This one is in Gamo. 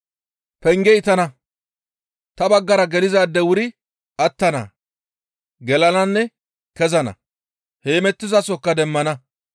Pengey tana; ta baggara gelizaadey wuri attana; gelananne kezana; heemettizasokka demmana.